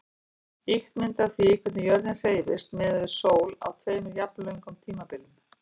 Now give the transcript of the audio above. Ýkt mynd af því hvernig jörðin hreyfist miðað við sól á tveimur jafnlöngum tímabilum.